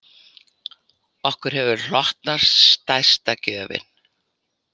Okkur hefur hlotnast stærsta gjöfin